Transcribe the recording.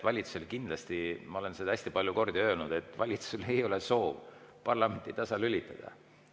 Valitsusel kindlasti – ma olen seda hästi palju kordi öelnud – ei ole soovi parlamenti tasalülitada.